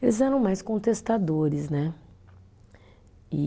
Eles eram mais contestadores, né? E